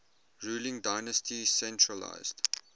ruling dynasty centralised